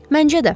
Məncə də.